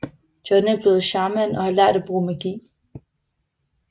John er blevet shaman og har lært at bruge magi